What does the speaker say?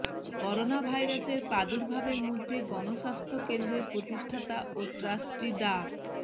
করোনাভাইরাসের প্রাদুর্ভাবের মধ্যে গণস্বাস্থ্য কেন্দ্রের প্রতিষ্ঠাতা ও ট্রাস্টি ডা